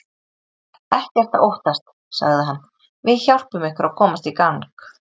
Ekkert að óttast sagði hann, við hjálpum ykkur að komast í gang.